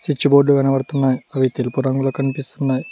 Switch బోర్డు లు కనబడుతున్నాయి అవి తెలుపు రంగులో కనిపిస్తున్నాయి.